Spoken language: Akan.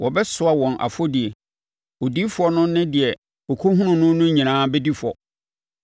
Wɔbɛsoa wɔn afɔdie; odiyifoɔ no ne deɛ ɔkɔhunuu no no nyinaa bɛdi fɔ.